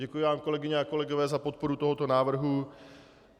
Děkuji vám, kolegyně a kolegové, za podporu tohoto návrhu.